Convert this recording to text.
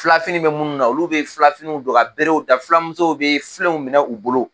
Filafini bɛ minnu na olu bɛ filafiniw don ka berew ta filamuso bɛ filenw minɛ u bolo